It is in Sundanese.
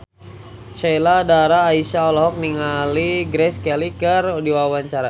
Sheila Dara Aisha olohok ningali Grace Kelly keur diwawancara